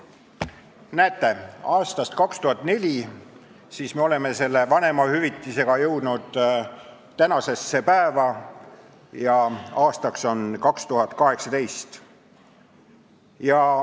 Näete, aastast 2004 oleme vanemahüvitisega jõudnud tänasesse päeva ja aasta on 2018.